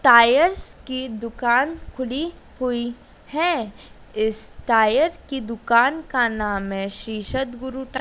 tyres की दुकान खुली हुई है इस टायर की दुकान का नाम है शीर्षद गुरु टा--